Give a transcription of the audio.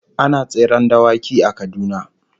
Ana tseren dawaki a Kaduna